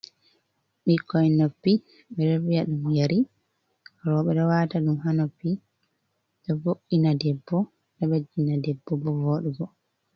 bikkon noppi, beɗo via dum yari robe do wata dum ha noppi, ɗovo’’ina debbo ɗoɓeddina debbo bo voɗugo